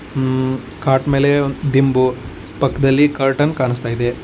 ಮ್ಮ್- cot ಮೇಲೆ ದಿಂಬು ಪಕ್ಕದಲ್ಲಿ ಕರ್ಟನ್ ಕಾಣುತ್ತಿದೆ.